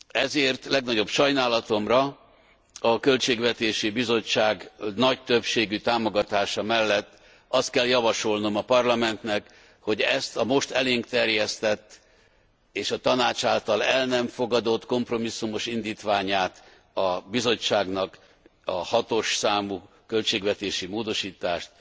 Ezért legnagyobb sajnálatomra a Költségvetési Bizottság nagy többségű támogatása mellett azt kell javasolnom a Parlamentnek, hogy ezt a most elénk terjesztett és a Tanács által el nem fogadott kompromisszumos indítványát a Bizottságnak, a 6. számú költségvetési módosítást